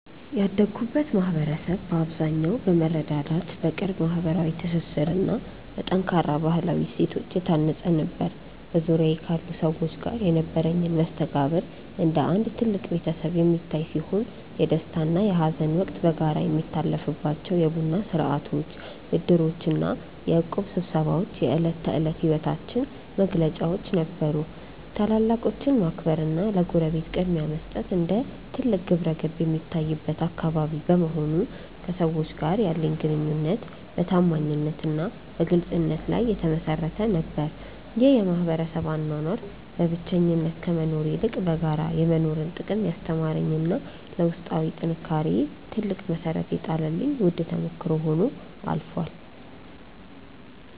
ያደግኩበት ማኅበረሰብ በአብዛኛው በመረዳዳት፣ በቅርብ ማኅበራዊ ትስስርና በጠንካራ ባሕላዊ እሴቶች የታነፀ ነበር። በዙሪያዬ ካሉ ሰዎች ጋር የነበረኝ መስተጋብር እንደ አንድ ትልቅ ቤተሰብ የሚታይ ሲሆን፣ የደስታና የሐዘን ወቅት በጋራ የሚታለፍባቸው የቡና ሥርዓቶች፣ ዕድሮችና የእቁብ ስብሰባዎች የዕለት ተዕለት ሕይወታችን መገለጫዎች ነበሩ። ታላላቆችን ማክበርና ለጎረቤት ቅድሚያ መስጠት እንደ ትልቅ ግብረገብ የሚታይበት አካባቢ በመሆኑ፣ ከሰዎች ጋር ያለኝ ግንኙነት በታማኝነትና በግልጽነት ላይ የተመሠረተ ነበር። ይህ የማኅበረሰብ አኗኗር በብቸኝነት ከመኖር ይልቅ በጋራ የመኖርን ጥቅም ያስተማረኝና ለውስጣዊ ጥንካሬዬ ትልቅ መሠረት የጣለልኝ ውድ ተሞክሮ ሆኖ አልፏል።